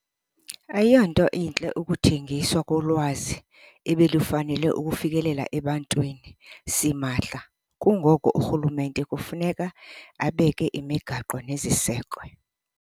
Ayiyonto intle ukuthengiswa kolwazi ebelufanele ukufikelela ebantwini simahla. Kungoko urhulumente kufuneka abeke imigaqo nezisekwe.